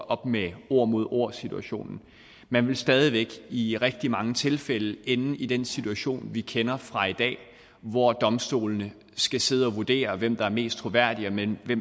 op med ord mod ord situationen man vil stadig væk i rigtig mange tilfælde ende i den situation vi kender fra i dag hvor domstolene skal sidde og vurdere hvem der er mest troværdig hvem